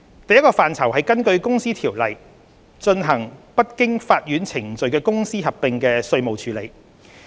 第一個範疇是根據《公司條例》進行不經法院程序的公司合併的稅務處理。